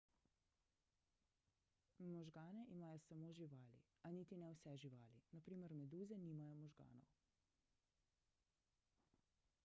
možgane imajo samo živali a niti ne vse živali; na primer meduze nimajo možganov